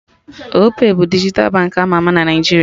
Opay bụ dijital bank ama ama na Naijiria